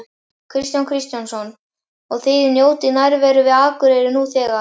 Kristján Kristjánsson: Og þið njótið nærveru við Akureyri nú þegar?